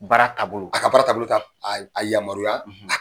Bara taabolo a ka baara taabolo t'a yamaya,